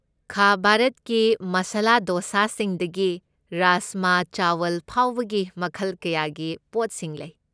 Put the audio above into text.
ꯈꯥ ꯚꯥꯔꯠꯀꯤ ꯃꯥꯁꯥꯂꯥ ꯗꯣꯁꯥꯁꯤꯡꯗꯒꯤ ꯔꯥꯖꯃꯥ ꯆꯥꯋꯜ ꯐꯥꯎꯕꯒꯤ ꯃꯈꯜ ꯀꯌꯥꯒꯤ ꯄꯣꯠꯁꯤꯡ ꯂꯩ꯫